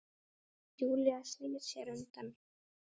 Júlía snýr sér undan.